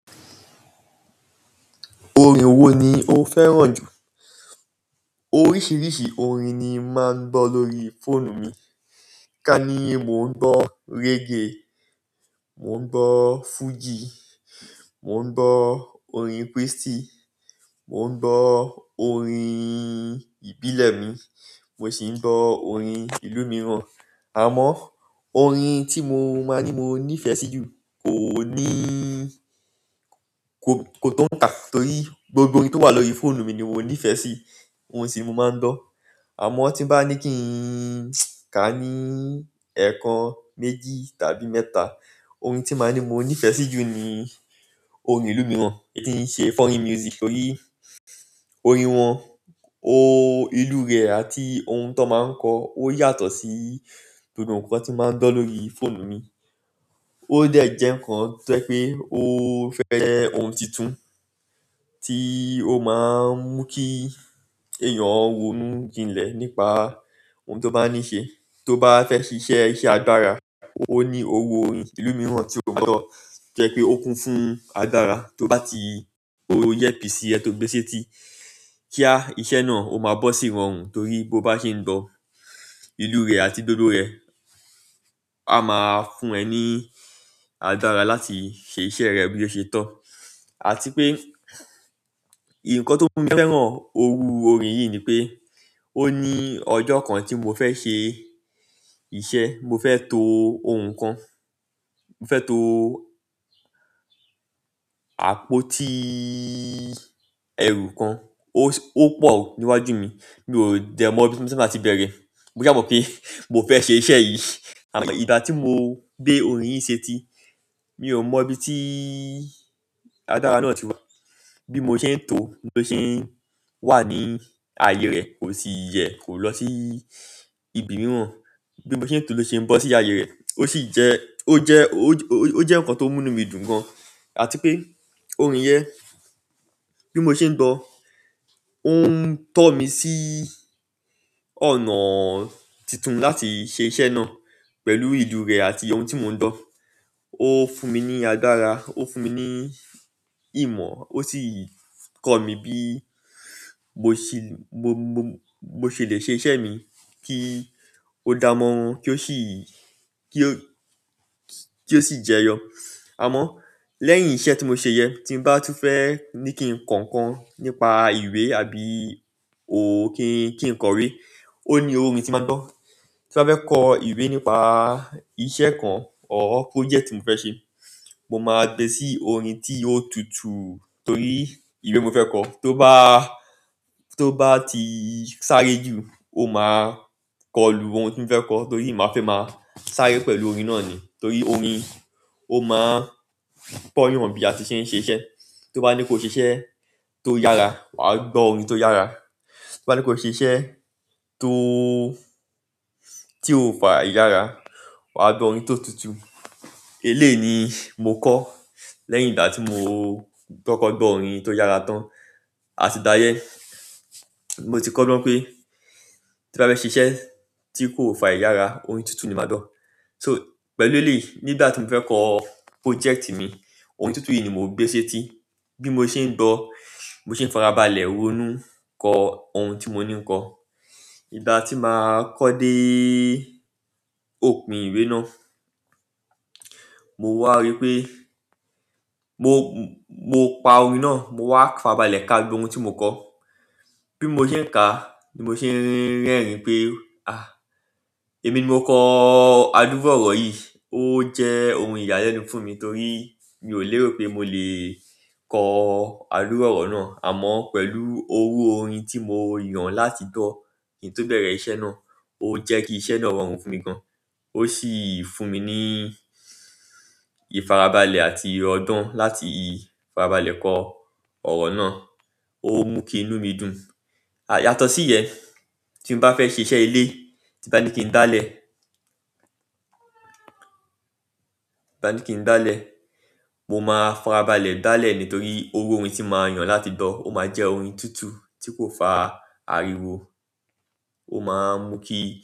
Orin wo ni o fẹ́ràn jù? Oríṣìíríṣìí òrin ni máa ń gbọ́ lórí fóònù mi. Ká ní mò ń gbọ́ reggae, mò ń gbọ́ fújì, mò ń gbọ́ orin krístì, mò ń gbọ́ orin ìbílẹ̀ mi, mo sì ń gbọ́ orin ìlú mìíràn. Àmọ́ orin tí mo máa ní mo nífẹ̀ẹ́ sí jù kò ní-ko kò tó ń kà torí gbogbo orin tó wà lórí fóònù mi ni mo nífẹ̀ẹ́ sí, ohun sì mo máa ń gbọ́. Àmọ́ tí n bá ní kí n ká ní èèkàn méjì tàbí mẹ́ta, orin tí màá ní mo nífẹ̀ẹ́ sí jù ni orin ìlú mìíràn èyí tí n ṣe foreign music torí orin wọn, ìlú rẹ̀ àti ohun tan máa ń kọ. Ó yàtọ̀ sí gbogbo nkan tí màá ń gbọ́ lórí fóònù mi. Ó dẹ̀ jẹ́ ǹkan tó jẹ́ pé ó fẹ́ jẹ́ ohun titun tí ó máa ń mú kí èèyàn ronú jinlẹ̀ nípa ohun tó bá ni í ṣe. Tó bá fẹ́ ṣe iṣẹ́, iṣẹ́ agbára, ó ní oru orin ìlú mìíràn tí o gbọ́dọ̀ jẹ́ pé ó kún fún agbára tó bá ti lo earpiece ẹ tó gbé e sétí kíá iṣẹ́ náà ó máa bọ́ sí irọrùn torí bó bá ṣe ń gbọ́ ìlú rẹ̀ àti gbògbo rẹ̀, a máa fún ẹ ní agbára láti ṣe iṣẹ́ rẹ bí o ṣe tọ́. Àti pé nǹkan tó mú mi fẹ́ràn oru orin yìí ni pé, ó ní ọjọ́ kan tí mo fẹ́ ṣe iṣẹ́, mo fẹ́ to ohun kan, mo fẹ́ to àpótí ẹrù kan. Ó s-- o pọ̀ níwájú mi, mi ò dẹ mọ bí ma ti máa bẹ̀rẹ̀. Mo sà mọ̀ pé, mo fẹ́ ṣe iṣẹ̀ yìí. Amo ìgbà ti mo gbe orin yìí seti, mi o mo bi ti agbára náà ti wa. Bí mo ṣe ń to ló ṣe ń wà ní aye rẹ̀ kò sì yẹ kò lọ sí ibi mìíràn. Bí mo ṣe ń to ló ṣe ń bọ́ sí aye rẹ̀. Ó sì jẹ́, ó jẹ́, ó jẹ́ ǹkan tó mú nu mí dùn gan. Àti pé orin yẹn bí mo ṣe ń gbọ́, ó ń tọ́ mi sí ọ̀nà titun láti ṣe iṣẹ́ náà pẹ̀lú ìlú rẹ̀ àti ohun tí mò ń gbọ́. Ó fún mi ní agbára, ó fún mi ní ìmọ̀, ó sì kọ́ mi bí mo sì, mo, mo ṣè lè ṣe iṣẹ́ mi kí ó dá mọ́ran kí ó sì, kí ó, kí ó sì jẹyọ. Àmọ́ lẹ́yìn iṣẹ́ tí mo ṣe yẹn tí n bá tún fẹ́ ní kí n kọ ǹkan nípa ìwé àbí kí n, ki n kọ'wé, ó ní orin tí n máa n gbọ́. Ti n bá fẹ́ kọ ìwé nípa iṣẹ́ eko or project tí mo fẹ́ ṣe, mo máa gbẹ́ sí orin tí ó tutu torí ìwé mo fẹ́ kọ. To ba, to ba ti sáré ju, o maa ko lu oun ti mo fe ko to ri ma fe maa sáré pẹ̀lú orin náà ni torí orin o maa n koo'yan bi a ti se n se iṣẹ́. To ba nipe o sise to yara, wa gbo orin ti o yara tó bá ní kó ṣe iṣẹ́ tó, tí ó fa ìyára, wà á gbọ́ orin tó tutu. Eléyii ni mo kọ́ lẹ́yìn ìgbà tí mo kọ́kọ́ gbọ́ orin tó yára tán. Àti gbá yẹ́n, ni mo ti kọ́ gbọ́n pé tí n bá fẹ́ ṣe iṣẹ́ tí kò fa ìyára, orin tuntun ni màá gbọ́. So pẹ̀lú elèyii nígbà tí mo fẹ́ kọ project mi, orin tutu yìí ni mo n gbé sétí. Bí mo ṣe ń gbọ́, mo se ń farabalẹ̀ ronú kọ ohun tí mo ní ń kọ. Ìgbà tí màá kọ́ dé òpin ìwé náà, mo wá rí pé mo, mo pa orin náà, mo wá farabalẹ̀ ká gbogbo ohun tí mo kọ. Bí mo ṣe ń kà ni mo ṣe ń rin rin ẹ̀rín pé, "Ah! Èmi ni mo kọ àdùru orọ̀ yìí. Ó jẹ́ ohun ìyàlẹ́nu fún mi torí mi ò lérò pé mo lè kọ àdùru orọ̀ náà." Àmọ́ pẹ̀lú oru orin tí mo yàn láti gbọ́ kí n tó bẹ̀rẹ̀ iṣẹ́ náà ó jẹ́ kí iṣẹ́ náà rọrùn fún mi gan. Ó sì fún mi ní ìfarabalẹ̀ àti ọ̀gbon láti farabalẹ̀ kọ ọ̀rọ̀ náà, ó ń mú kí inú mi dùn. Yàtọ̀ sí yẹn, tí n bá fẹ́ ṣe iṣẹ́ ilé, tí n bá ní kí n gbalẹ̀, tí n bá ní kí n gbálẹ̀, mo máa farabalẹ̀ gbálẹ̀ nítorí oru orin tí màá yàn láti gbọ́ ó máa jẹ́ orin tutu tí kò fa ariwo. Ó máa ń mú kí.